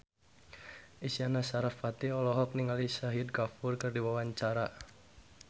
Isyana Sarasvati olohok ningali Shahid Kapoor keur diwawancara